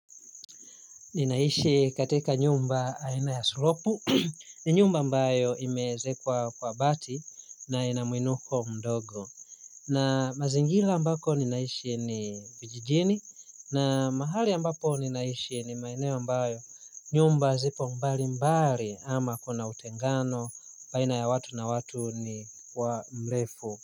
Ninaishi katika nyumba aina ya sulopu ni nyumba ambayo imeezekwa kwa bati na inamwinuko mdogo. Na mazingira ambapo ninaishi ni kijijini na mahali ambapo ninaishi ni maeneo ambayo nyumba zipo mbali mbali ama kuna utengano baina ya watu na watu ni kwa mrefu.